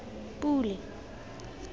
pule